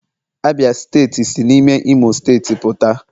Abia steeti si n'ime imo steeti puta